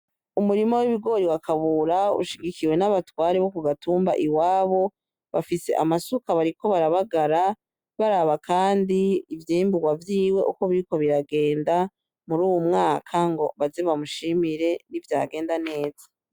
Umurima w'ibigori wa kabura ushigikiwe n'abatware bo gatumba iwabo bafise amasuka bariko barabagara baraba kandi ivyimbugwa vyiwe uko biriko biragenda muruyu mwaka ngo baze bamushimire nivyagenda neza .